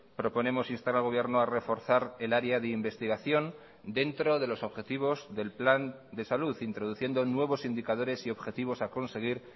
proponemos instar al gobierno a reforzar el área de investigación dentro de los objetivos del plan de salud introduciendo nuevos indicadores y objetivos a conseguir